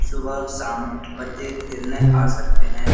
सुबह शाम बच्चे खेलने आ सकते हैं।